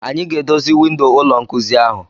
Anyị ga-edozi windo ụlọ nkuzi ahụ.